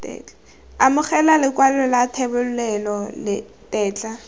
amogela lekwalo la thebolelo tetla